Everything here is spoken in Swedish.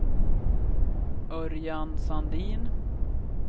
Örjan Sandin